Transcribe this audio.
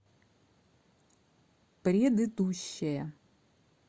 предыдущая